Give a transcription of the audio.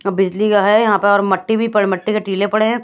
और बिजलीका है यहाँ पर मट्टी भी पर मट्टी का टीले पड़े है।